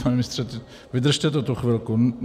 Pane ministře, vydržte to tu chvilku.